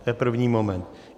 To je první moment.